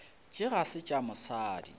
tše ga se tša mosadi